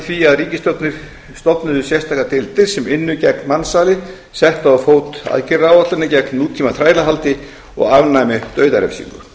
því að ríkisstjórnir stofnuðu sérstakar deildir sem ynnu gegn mansali settu á fót aðgerðaáætlanir gegn tíma þrælahaldi og afnæmu dauðarefsingu